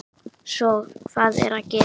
Svo hvað er að gerast?